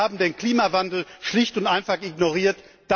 Sie haben den Klimawandel schlicht und einfach ignoriert.